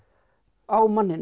á manninum